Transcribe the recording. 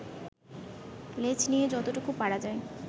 লেজ দিয়ে যতটুকু পারা যায়